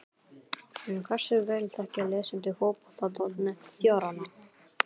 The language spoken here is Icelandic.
En hversu vel þekkja lesendur Fótbolta.net stjórana?